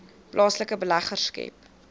plaaslike beleggers skep